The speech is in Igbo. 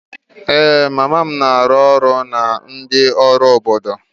Ee, mama m na-arụ ọrụ na ndị ọrụ obodo.